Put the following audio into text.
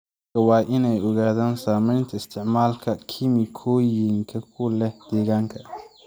Dadka waa in ay ogaadaan saameynta isticmaalka kiimikooyinka ku leh deegaanka.